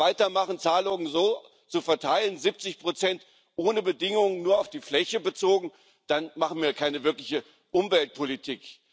Wenn wir weitermachen, Zahlungen so zu verteilen, 70 ohne Bedingungen, nur auf die Fläche bezogen, dann machen wir keine wirkliche Umweltpolitik.